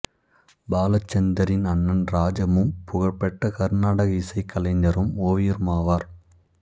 பாலச்சந்தரின் அண்ணன் ராஜமும் புகழ்பெற்ற கருநாடக இசைக் கலைஞரும் ஓவியருமாவார்